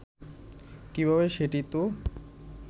কিভাবে সেটি তো